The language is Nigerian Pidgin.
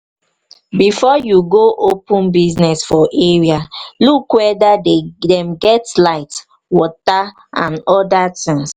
before you go open business for area look weda dem dey get light water and oda things